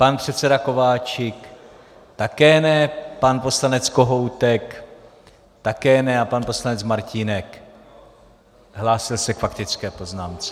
Pan předseda Kováčik také ne, pan poslanec Kohoutek také ne a pan poslanec Martínek - hlásil se k faktické poznámce.